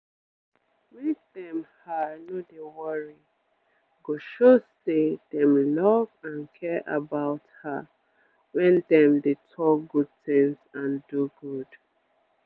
make dem her no dey worry go show say dem love and care about her wen dem dey talk good tins and do good